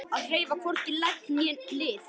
Að hreyfa hvorki legg né lið